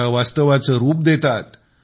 त्याला वास्तवाचे रुप देतात